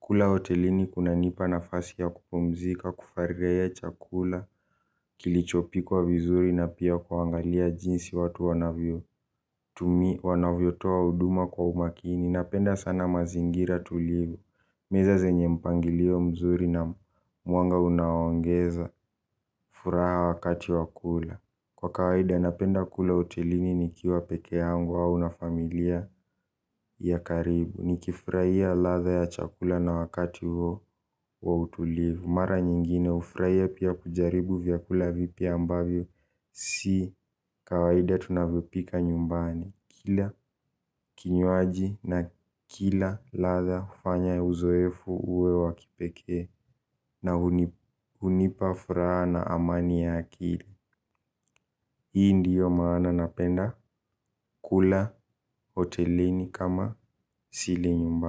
Kula hotelini kunanipa nafasi ya kupumzika kufaragia chakula kilichopikwa vizuri na pia kuangalia jinsi watu wanavyo. Wanavyotoa huduma kwa umakini napenda sana mazingira tulivu. Meza zenye mpangilio mzuri na mwanga unaoongeza furaha wakati wa kula. Kwa kawaida napenda kula hotelini nikiwa pekee hyangu au na familia ya karibu. Nikifurahia ladha ya chakula na wakati huo wa utulivu. Mara nyingine hufurahia pia kujaribu vyakula vipya ambavyo. Si kawaida tunavipika nyumbani. Kila kinywaji na kila ladha hufanya uzoefu uwe wa kipekee. Na hunipa furaha na amani ya akili. Hii ndiyo maana napenda kula hotelini kama sili nyumbani.